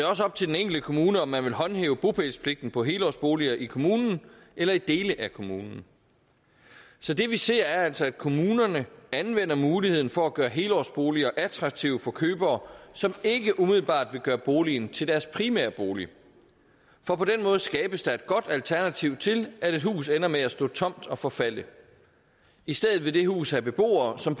også op til den enkelte kommune om man vil håndhæve bopælspligten på helårsboliger i kommunen eller i dele af kommunen så det vi ser er altså at kommunerne anvender muligheden for at gøre helårsboliger attraktive for købere som ikke umiddelbart vil gøre boligen til deres primære bolig for på den måde skabes der et godt alternativ til at et hus ender med at stå tomt og forfalde i stedet vil det hus have beboere som